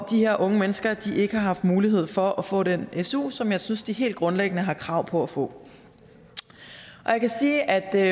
de her unge mennesker ikke har haft mulighed for at få den su som jeg synes de helt grundlæggende har krav på at få jeg kan sige at